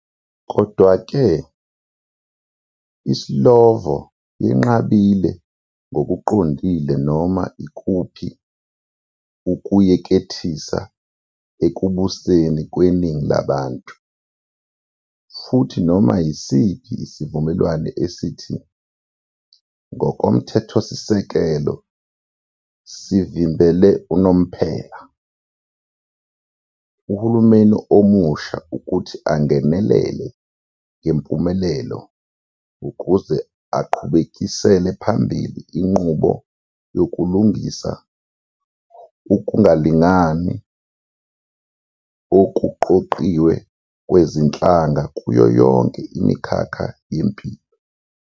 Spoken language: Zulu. Kodwa-ke, iSlovo yenqabile ngokuqondile noma ikuphi ukuyekethisa ekubuseni kweningi labantu, futhi noma yisiphi isivumelwano esithi "ngokomthethosisekelo sivimbele unomphela" uhulumeni omusha "ukuthi angenelele ngempumelelo ukuze aqhubekisele phambili inqubo yokulungisa ukungalingani okuqoqiwe kwezinhlanga kuyo yonke imikhakha yempilo".